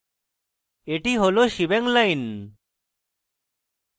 এটি হল shebang line